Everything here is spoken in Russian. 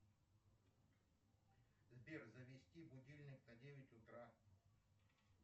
сбер завести будильник на девять утра